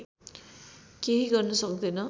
केही गर्न सक्दैन